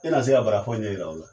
E na se ka bara fɔ ɲɛ yira o la.